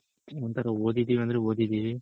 ಒಂಥರ ಓದಿದಿವಿ ಅಂದ್ರೆ ಓದಿದಿವಿ